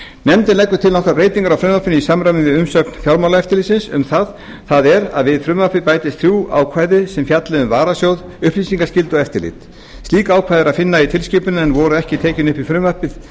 nefndin leggur til nokkrar breytingar á frumvarpinu í samræmi við umsögn fjármálaeftirlitsins um það það er að við frumvarpið bætist þrjú ákvæði sem fjalli um varasjóð upplýsingaskyldu og eftirlit slík ákvæði er að finna í tilskipuninni en voru ekki tekin upp í frumvarpið